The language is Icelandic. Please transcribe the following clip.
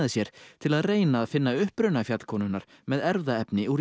sér til að reyna að finna uppruna fjallkonunnar með erfðaefni úr